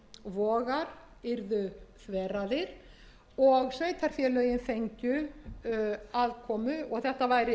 og firðir og vogar yrðu þveraðir og sveitarfélögin fengju aðkomu og þetta væri